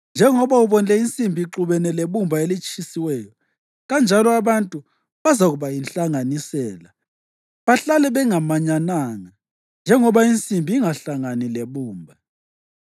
Njalo njengoba ubonile insimbi ixubene lebumba elitshisiweyo, kanjalo abantu bazakuba yinhlanganisela bahlale bengamanyananga, njengoba insimbi ingahlangani lebumba.